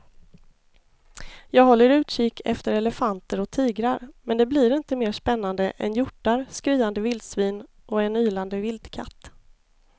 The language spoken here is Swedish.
Jag håller utkik efter elefanter och tigrar men det blir inte mer spännande än hjortar, skriande vildsvin och en ylande vildkatt.